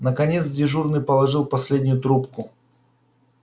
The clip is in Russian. наконец дежурный положил последнюю трубку